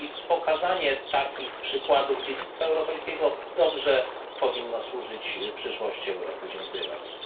Pokazanie takich przykładów dziedzictwa europejskiego dobrze powinno służyć przyszłości Europy. Dziękuję bardzo.